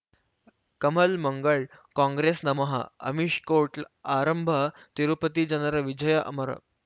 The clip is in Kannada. ಕಮಲ್ ಮಂಗಳ್ ಕಾಂಗ್ರೆಸ್ ನಮಃ ಅಮಿಷ್ ಕೋರ್ಟ್ ಲ್ ಆರಂಭ ತಿರುಪತಿ ಜನರ ವಿಜಯ ಅಮರ್